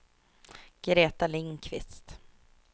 Greta Lindqvist